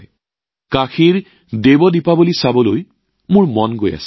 আৰু কাশীৰ দেৱ দীপাৱলীৰ সাক্ষী হবলৈ মোৰ সদায় মন যায়